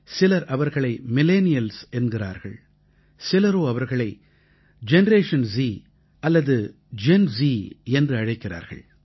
சிலர் அவர்களை மில்லெனியல்ஸ் என்கிறார்கள் சிலரோ அவர்களை ஜெனரேஷன் ஸ் அல்லது ஜென் ஸ் என்று அழைக்கிறார்கள்